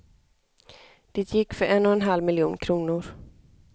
Det gick för en och en halv miljon kronor.